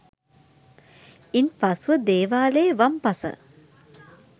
ඉන්පසුව දේවාලයේ වම් පස